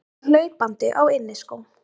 Kemur hlaupandi á inniskóm.